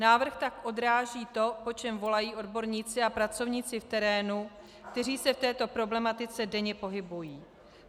Návrh tak odráží to, po čem volají odborníci a pracovníci v terénu, kteří se v této problematice denně pohybují.